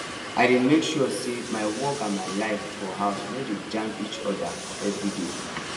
i dey make sure say my work and my life for house no dey jam each oda everi day